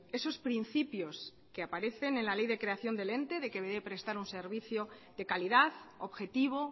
esos principios que aparecen en la ley de creación del ente de que debe prestar un servicio de calidad objetivo